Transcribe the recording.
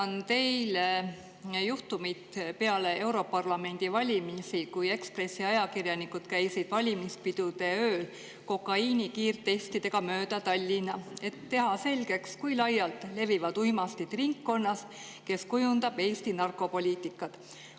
Meenutan teile juhtumit peale europarlamendi valimisi, kui Ekspressi ajakirjanikud käisid valimispidude ööl kokaiini kiirtestidega mööda Tallinna, et teha selgeks, kui laialt levivad uimastid ringkonnas, kes kujundab Eesti narkopoliitikat.